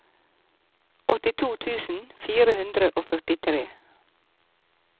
åttito tusen fire hundre og førtitre